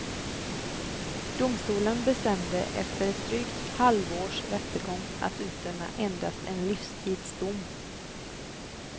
Domstolen bestämde efter ett drygt halvårs rättegång att utdöma endast en livstidsdom.